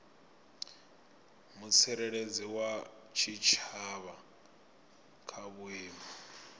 mutsireledzi wa tshitshavha kha vhuimo